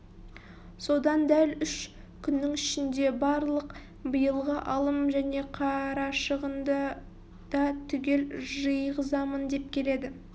содан дәл үш күннің ішінде барлық биылғы алым және қарашығынды да түгел жиғызамын деп келеді